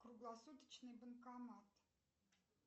круглосуточный банкомат